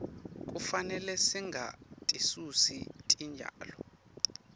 kufanele singatisusi titjalo